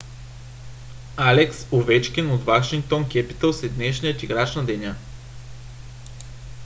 алекс овечкин от вашингтон кепитълс е днешния играч на деня